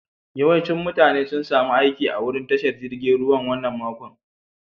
Yawancin mutane sun samu aiki a'wurin tashar jirigin ruwan wanan makon.